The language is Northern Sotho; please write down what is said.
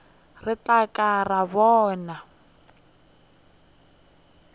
re tla ka ra bona